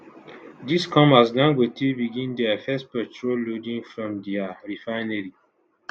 dis come as dangote begin dia first petrol loading from dia refinery